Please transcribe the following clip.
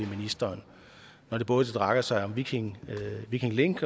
ministeren når det både drejer sig om viking viking link